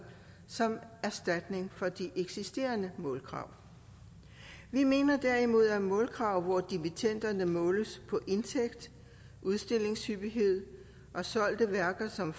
som erstatning for de eksisterende målkrav vi mener derimod at målkrav hvor dimittenderne måles på indtægt udstillingshyppighed og solgte værker som